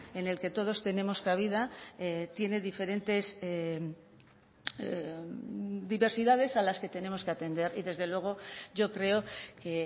en el que todos tenemos cabida tiene diferentes diversidades a las que tenemos que atender y desde luego yo creo que